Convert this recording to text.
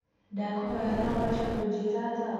ndakũhoya no uhote kunjĩĩra thaa